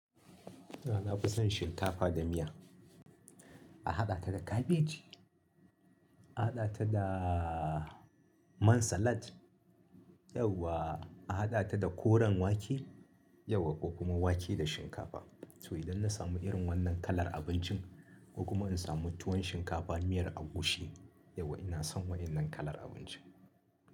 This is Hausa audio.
Na fi son shinkafa da miya, a haɗa ta da kabeji, a haɗa ta da man salad yau wa a haɗa ta da koren wake yau wa ko kuma wake da shinkafa. To idan na samu irin wannan kalar abincin ko kuma in samu tuwon shinkafa miyar agushi yau wa ina son wannan kalar abincin.